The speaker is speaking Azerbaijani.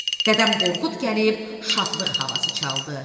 Dədəm Qorqud gəlib şadlıq havası çaldı.